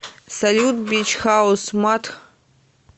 салют бич хаус матх